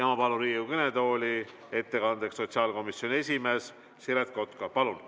Ma palun Riigikogu kõnetooli ettekandeks sotsiaalkomisjoni esimehe Siret Kotka!